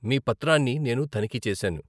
మీ పత్రాన్ని నేను తనిఖీ చేశాను.